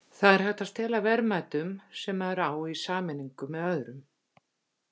Það er hægt að stela verðmætum sem maður á í sameiningu með öðrum.